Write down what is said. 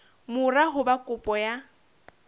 mora ho ba kopo ya